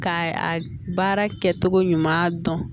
Ka a baara kɛ cogo ɲuman dɔn